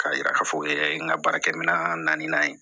K'a yira k'a fɔ o ye n ka baarakɛminɛ na ye